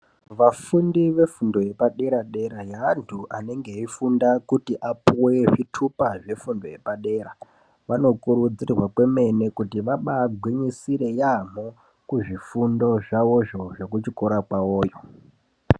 Vafundi vefundo yepadera -dera vantu anenge eifunda kuti apuwe zvitupa zvefundo yapadera. Vanokurudzirwa kwemene kuti vabagwinyisire yaambo kuzvifundo zvavo izvozvo zvekuchikora kwavoyo.